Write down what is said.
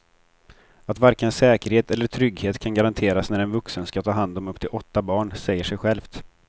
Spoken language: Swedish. Att varken säkerhet eller trygghet kan garanteras när en vuxen ska ta hand om upp till åtta barn säger sig självt.